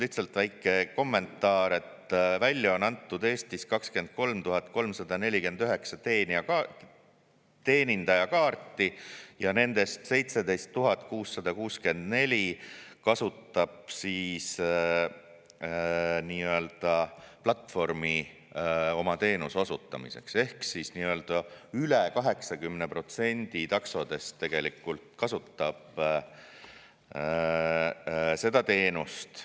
Lihtsalt väike kommentaar, et Eestis on välja antud 23 349 teenindajakaarti ja nendest 17 664 kasutab nii-öelda platvormi oma teenuse osutamiseks ehk siis üle 80% taksodest tegelikult kasutab seda teenust.